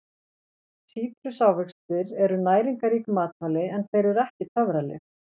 Sítrusávextir eru næringarrík matvæli en þeir eru ekki töfralyf.